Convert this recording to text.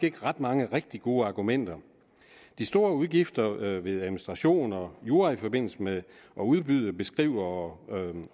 ikke ret mange rigtig gode argumenter de store udgifter ved administration og jura i forbindelse med at udbyde beskrive og